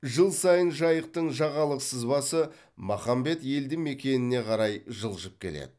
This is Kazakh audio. жыл сайын жайықтың жағалық сызбасы махамбет елді мекеніне қарай жылжып келеді